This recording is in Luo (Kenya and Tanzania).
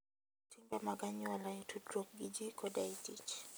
Luw timbe mag anyuola e tudruok gi ji koda e tich.